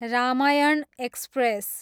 Ramayana express